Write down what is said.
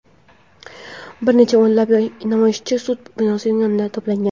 bir necha o‘nlab namoyishchi sud binosi yonida to‘plangan.